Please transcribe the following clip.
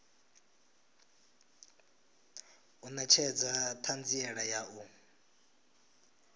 u netshedza thanziela ya u